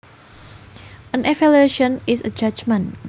An evaluation is a judgement